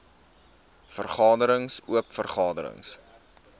vergaderings oop vergaderings